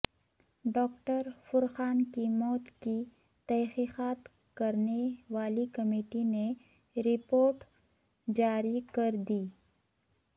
doctor Furqan کی موت کی تحقیقات کرنے والی کمیٹی نے رپورٹ جاری کردی